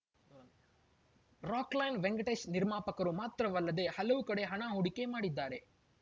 ರಾಕ್‌ಲೈನ್‌ ವೆಂಕಟೇಶ್‌ ನಿರ್ಮಾಪಕರು ಮಾತ್ರವಲ್ಲದೇ ಹಲವು ಕಡೆ ಹಣ ಹೂಡಿಕೆ ಮಾಡಿದ್ದಾರೆ